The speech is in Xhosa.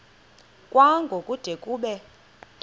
kwango kude kube